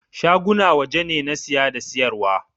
Shaguna waje ne na siya da siyar wa.